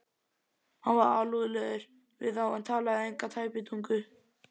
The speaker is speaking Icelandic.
Hann var alúðlegur við þá en talaði enga tæpitungu.